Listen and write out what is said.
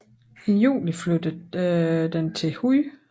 I juli flyttede den til Huj